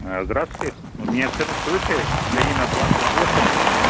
ээ здравствуйте мне цену скажите ленина двадцать восемь